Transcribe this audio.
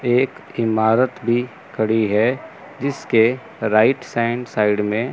एक ईमारत भी खड़ी है जिसके राइट सैंड साइड में--